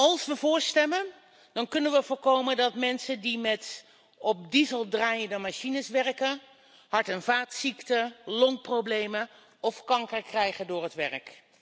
Als we voor stemmen, dan kunnen we voorkomen dat mensen die met op diesel draaiende machines werken, hart en vaatziekten, longproblemen of kanker krijgen door het werk.